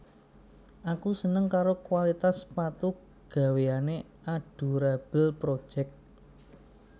Aku seneng karo kualitas sepatu gaweane Adorable Project